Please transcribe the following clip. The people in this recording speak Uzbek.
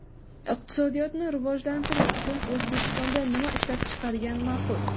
Iqtisodiyotni rivojlantirish uchun O‘zbekistonda nima ishlab chiqargan ma’qul?.